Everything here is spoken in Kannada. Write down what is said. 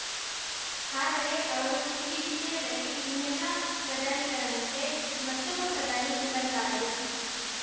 ಆದರೆ ಅವರು ಈ ವಿಷಯದಲ್ಲಿ ಇನ್ನೆಲ್ಲ ಪ್ರಧಾನಿಗಳಂತೆ ಮತ್ತೊಬ್ಬ ಪ್ರಧಾನಿ ಎಂಬಂತಾದರು